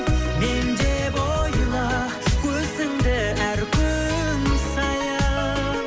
мен деп ойла өзіңді әр күн сайын